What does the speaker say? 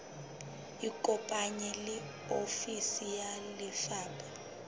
ikopanye le ofisi ya lefapha